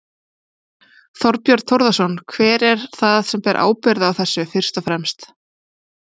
Þorbjörn Þórðarson: Hver er það sem ber ábyrgð á þessu fyrst og fremst?